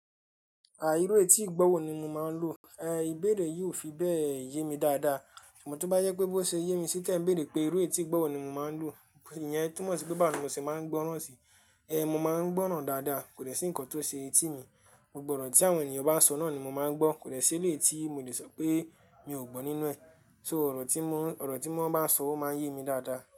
À irú etí ìgbọ́wọ́ ni mo máa ń lò, ẹ̀ ìbéèrè yìí ò fi bẹ́ẹ̀ yé mi dáadáa. Amo to ba jepe bó ṣe yé mi sí tẹ̀ ń béèrè pé irú etí ìgbọ́ wọ́ ni mo máa ń lò. Iyẹn túmọ̀ sí pé báwo ni mo ṣe máa ń gbọ́ràn sí i. Ẹ̀ Mo máa ń gbọ́ràn dáadáa, kò dè sí ǹkan tó ṣe etí mi. Gbogbọ́ ọ̀rọ̀ tí àwọn ènìyàn bá sọ náà ni mo máa ń gbọ́. Kò dè ṣi eleyi tí mo lè sọ pé mi ò gbọ́ nínú ẹ̀. So ọ̀rọ̀ tí wọ́n, ọ̀rọ̀ tí wọ́n bá n sọ o máa ń yé mi dáadáa.